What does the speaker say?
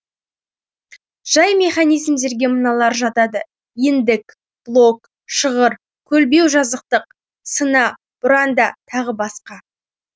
жай механизмдерге мыналар жатады иіндік блок шығыр көлбеу жазықтық сына бұранда тағы басқа